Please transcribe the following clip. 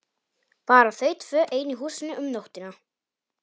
Bara þau tvö ein í húsinu um nóttina!